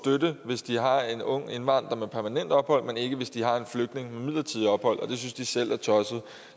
hvis de har en ung indvandrer med permanent ophold men ikke hvis de har en flygtning med midlertidigt ophold og det synes de selv er tosset